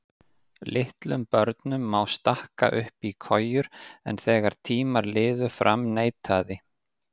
Litlum börnum má stakka upp í kojur en þegar tímar liðu fram neitaði